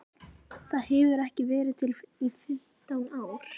Það hefur ekki verið til í fimmtán ár!